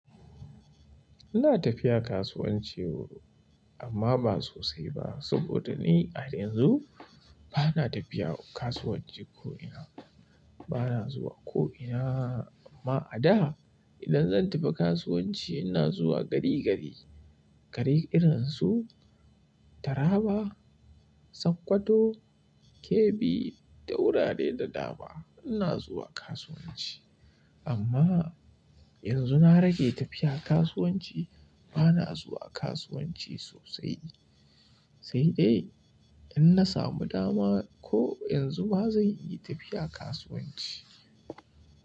Ina tafiya kasuwanci amma ba sosai ba. Saboda ni a yanzu bana tafiya kasuwanci ko'ina. Bana zuwa ko'ina. A da, idan zan tafi kasuwanci ina zuwa gari-gari. Gari irin su Taraba, Sokoto, Kebbi da wurare da dama, ina zuwa kasuwanci. Amma yanzu na rage tafiya kasuwanci. Bana zuwa kasuwanci sosai. Ni dai in na samu dama ko yanzu ba zan iya tafiya kasuwanci.